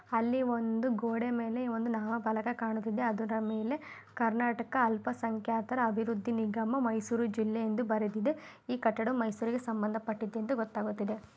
ಅಲ್ಲಿ ಒಂದು ಗೋಡೆ ಮೇಲೆ ಒಂದು ನಾಮಫಲಕ ಕಾಣುತಿದೆ. ಅದರ ಮೇಲೆ ಕರ್ನಾಟಕ ಅಲ್ಪ ಸಂಖ್ಯಾತರ ಅಭಿವೃದ್ದಿ ನಿಗಮ ಮೈಸೂರು ಜಿಲ್ಲೆ ಎಂದು ಬರೆದಿದೆ. ಈ ಕಟ್ಟಡ ಮೈಸೂರುಗೆ ಸಂಬಂಧ ಪಟ್ಟಿದ್ದು ಎಂದು ಗೊತ್ತಾಗುತ್ತಿದೆ.